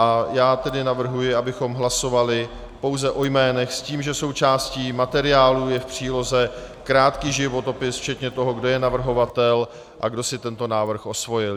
A já tedy navrhuji, abychom hlasovali pouze o jménech, s tím, že součástí materiálů je v příloze krátký životopis včetně toho, kdo je navrhovatel a kdo si tento návrh osvojil.